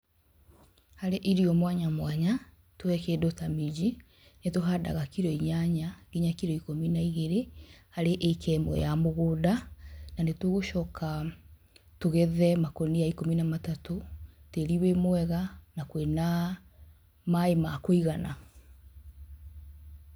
Harĩ irio mwanya mwanya nĩtuoye kĩndũ ta minji, nĩtũhandaga kiro inyanya nginya kiro ikũmi na igĩrĩ harĩ ĩka ĩmwe ya mũgũnda. Na nĩtũgũcoka tũgethe makũnia ikũmi na matatũ, tĩri wĩ mwega na kũrĩ na maaĩ ma kũigana.